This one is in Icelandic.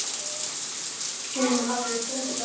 Hún hafði þunga rödd.